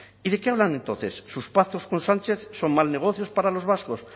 y de qué hablan entonces sus pactos con sánchez son mal negocio para los vascos